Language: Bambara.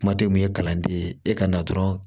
Kuma tɛ mun ye kalanden ye e ka na dɔrɔn